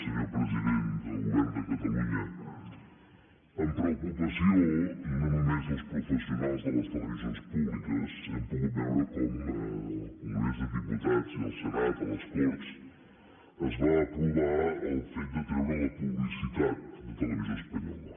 senyor president del govern de catalunya amb preocupació no només dels professionals de les televisions públiques hem pogut veure com al congrés dels diputats i el senat a les corts es va aprovar el fet de treure la publicitat de televisió espanyola